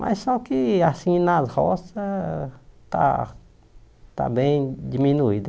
Mas só que assim, nas roças, está está bem diminuído.